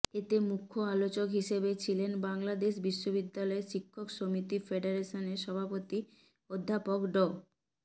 এতে মুখ্য আলোচক হিসেবে ছিলেন বাংলাদেশ বিশ্ববিদ্যালয় শিক্ষক সমিতি ফেডারেশনের সভাপতি অধ্যাপক ড